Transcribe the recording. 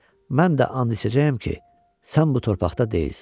Mən də an içəcəyəm ki, sən bu torpaqda deyilsən.